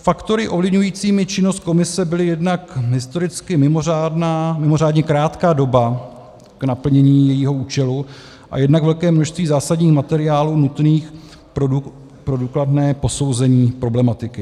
Faktory ovlivňujícími činnost komise byly jednak historicky mimořádně krátká doba k naplnění jejího účelu a jednak velké množství zásadních materiálů nutných pro důkladné posouzení problematiky.